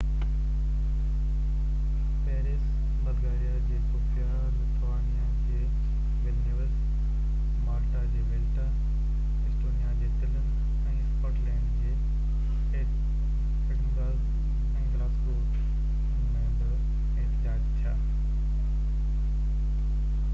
Paris Bulgaria جي Sofia Lithuania جي Vilnius Malta جي وليٽا ايسٽونيا جي تلن ۽ اسڪاٽلينڊ جي ايڊنبرگ ۽ گلاسگو ۾ بہ احتجاج ٿيا